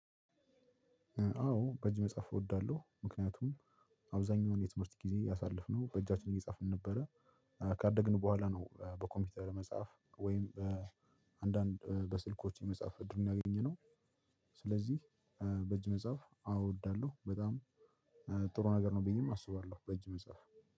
አዎ በእጅ መጽሐፍ እወዳለሁ ምክንያቱም አብዛኛውን የትምህርት ጊዜ ያሳለፍነው በእጃችን እየጻፍን ነበረ። እ ካደግን በኋላ ነው እ በኮምፒውተር መጽሐፍ ወይም በአንዳንድ በስልኮች የመጽሐፍ እድሉን ያገኘነው። ስለዚህ በእጅ መጻፍ አዎ አወዳለሁ በጣም ጥሩ ነገር ነው ብዬም አስባለሁ። በእጅ መጻፍ